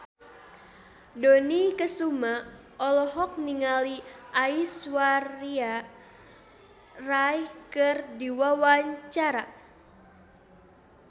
Dony Kesuma olohok ningali Aishwarya Rai keur diwawancara